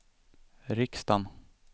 riksdagen